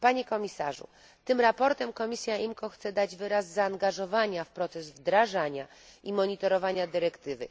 Panie Komisarzu, tym sprawozdaniem komisja IMCO chce dać wyraz zaangażowania w proces wdrażania i monitorowania dyrektywy.